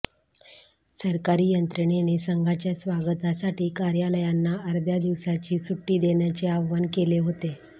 सरकारी यंत्रणेने संघाच्या स्वागतासाठी कार्यालयांना अर्ध्या दिवसाची सुटी देण्याचे आवाहन केले होते